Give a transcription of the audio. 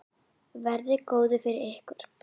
Verið góð við ykkur.